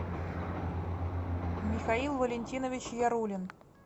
михаил валентинович ярулин